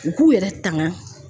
U k'u yɛrɛ tanga